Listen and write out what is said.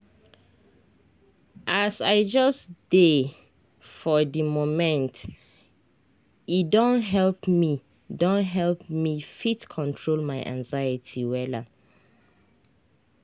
as i just dey for di momente don help me don help me fit control my anxiety wella.